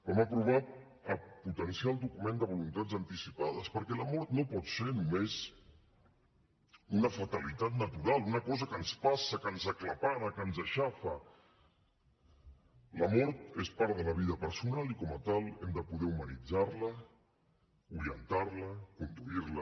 vam aprovar potenciar el document de voluntats anticipades perquè la mort no pot ser només una fatalitat natural una cosa que ens passa que ens aclapara que ens aixafa la mort és part de la vida personal i com a tal hem de poder humanitzar la orientar la conduir la